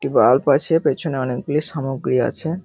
একটি বাল্ব আছে পেছনে অনেকগুলি সামগ্রী আছে।